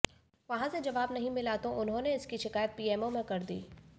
वहां से जवाब नहीं मिला तो उन्होंने इसकी शिकायत पीएमओ में कर दी